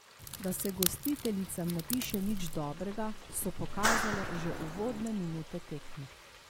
Da se gostiteljicam ne piše nič dobrega, so pokazale že uvodne minute tekme.